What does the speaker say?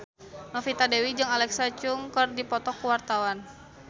Novita Dewi jeung Alexa Chung keur dipoto ku wartawan